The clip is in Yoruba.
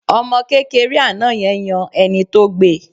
Ọmọ kékeré àná yẹn yan ẹni tó gbe